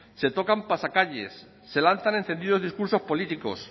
se tocan pasacalles se lanzan encendidos discursos políticos